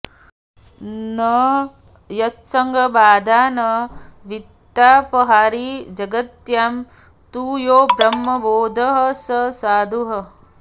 न यत्संगबाधा न वित्तापहारी जगत्यां तु यो ब्रह्मबोधः स साधुः